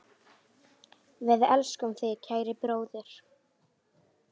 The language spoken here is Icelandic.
Við elskum þig, kæri bróðir.